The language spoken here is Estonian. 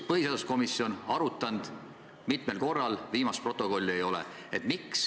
Põhiseaduskomisjon on teemat mitmel korral arutanud, viimast protokolli ei ole.